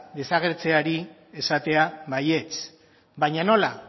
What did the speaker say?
desagertzeari esatea baietz baina nola